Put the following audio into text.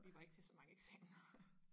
Vi var ikke til så mange eksamener